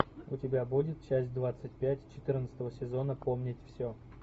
у тебя будет часть двадцать пять четырнадцатого сезона вспомнить все